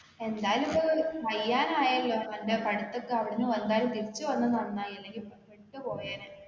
എന്തായാലും ഇപ്പ കയ്യാനായല്ലോ അന്റെ പഠിത്തൊക്കെ അവിടെന്നു വന്നാല് തിരിച്ചു വന്നത് നന്നായി അല്ലെങ്കിൽ പെട്ടു പോയേനെ